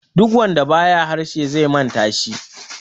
duk wanda ba ya harshe zai manta shi